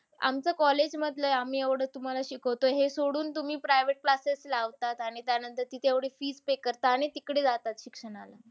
आमचं college मधलंय आम्ही तुम्हाला एवढं शिकवतो. हे सोडून तुम्ही private classes लावतात. आणि त्यानंतर तिथे एवढी fees pay करता. आणि तिकडे जाता शिक्षणाला.